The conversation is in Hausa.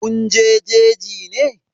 Kun je jeji ne?